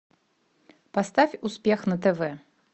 поставь успех на тв